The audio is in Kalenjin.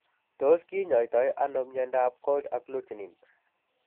Tos kinyaitaiano myondab Cold agglutinin?